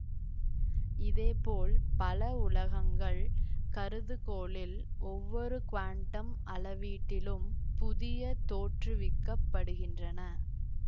இதேபோல் பல உலகங்கள் கருதுகோளில் ஒவ்வொரு குவாண்டம் அளவீட்டிலும் புதிய தோற்றுவிக்கப்படுகின்றன